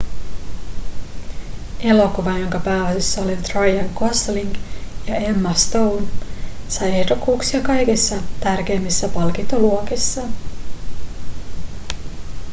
elokuva jonka pääosissa ovat ryan gosling ja emma stone sai ehdokkuuksia kaikissa tärkeimmissä palkintoluokissa